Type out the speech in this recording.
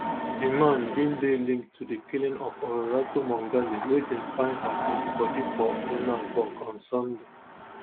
di man bin dey linked to di killing of olorato mongale wey dem find her deadibodi for johannesburg on sunday